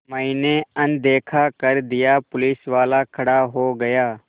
मैंने अनदेखा कर दिया पुलिसवाला खड़ा हो गया